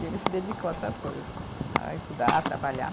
E ele se dedicou a outras coisas, a estudar, trabalhar.